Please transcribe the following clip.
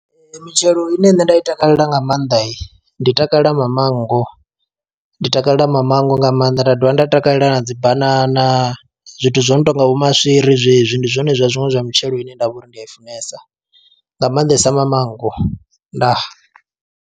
Mitshelo ine nṋe nda i takalela nga maanḓa ndi takalela mamango, ndi takalela mamango nga maanḓa nda dovha nda takalela na dzi banana zwithu zwo no tonga vho maswiri zwezwi, ndi zwone zwa zwiṅwe zwa mitshelo ine ndavha uri ndi ya i funesa nga maanḓesa mamango ndaa.